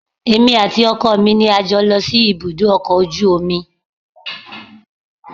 Èmi àti ọkọ mi ni a jọ lọ sí ibùdó ọkọ̀ ojú omi